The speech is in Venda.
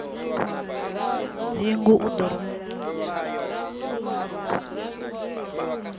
dzingu u ḓo rumela khumbelo